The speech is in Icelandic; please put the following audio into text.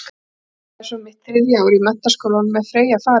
Þegar ég byrja svo mitt þriðja ár í menntaskólanum er Freyja farin til